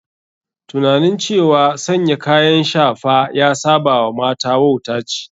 Tunanin cewa sanya kayan shafa ya saba wa mata wauta ce.